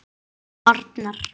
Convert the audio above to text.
Oddný, Gylfi, Gísli og Arnar.